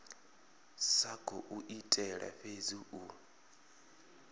sa khou itela fhedzi u